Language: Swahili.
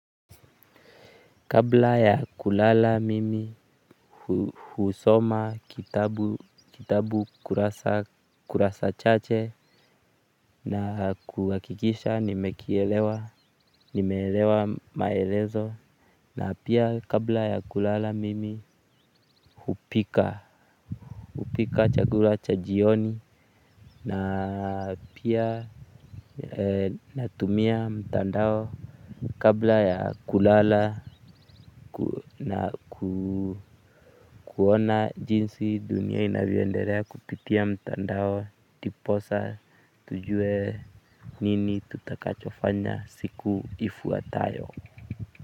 Kabla ya kulala mimi husoma kitabu kurasa chache na kuhakikisha nimekielewa nimeelewa maelezo na pia kabla ya kulala mimi hupika hupika chakula cha jioni na pia natumia mtandao kabla ya kulala na kuona jinsi dunia inavyoendelea kupitia mtandao ndiposa tujue nini tutakachofanya siku ifuatayo.